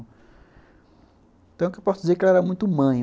Então, o que eu posso dizer é que ela era muito mãe.